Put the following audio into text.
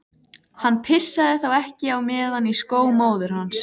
Hann pissaði þá ekki á meðan í skó móður hans.